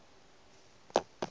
a tsenyo ye ke go